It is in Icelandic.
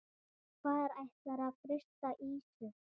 Hvar ætlarðu að frysta ísinn?